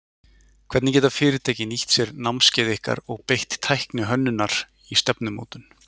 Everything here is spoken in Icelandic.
Hvernig geta fyrirtæki nýtt sér námskeið ykkar og beitt tækni hönnunar í stefnumótun?